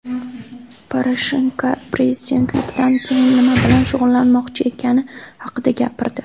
Poroshenko prezidentlikdan keyin nima bilan shug‘ullanmoqchi ekani haqida gapirdi.